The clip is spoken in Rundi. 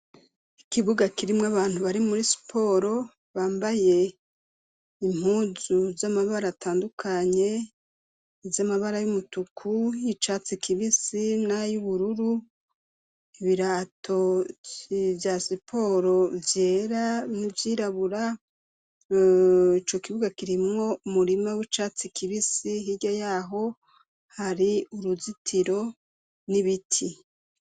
Ikibuga kirimwo abantu bari muri siporo, bambaye impuzu z'amabara atandukanye, z'amabara y'umutuku icatsi kibisi nay'ubururu, ibirato vya siporo vyera nivyirabura, ico kibuga kirimwo umurima w'icatsi kibisi hirya yaho hari uruzitiro n'ibiti.